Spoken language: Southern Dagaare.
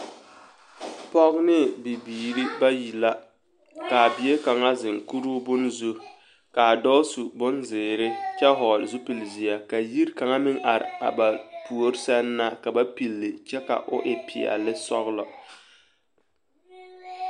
Pɔge ne bibiiri bayi la k'a bie kaŋa zeŋ kuruu bone zu k'a dɔɔ su bonzeere kyɛ hɔɔle zupili zeɛ ka yiri kaŋa meŋ are a ba puori seŋ na ka ba pilli kyɛ ka o e peɛle ne sɔgelɔ.